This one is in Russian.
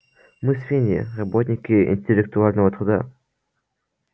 мы свиньи работники интеллектуального труда